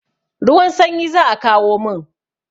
Ruwan sanyi za a kawo mun.